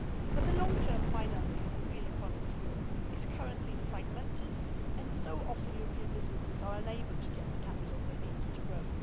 But the long term financing of the real economy in Europe is currently fragmented and so, often, European businesses are unable to get the capital they need to grow.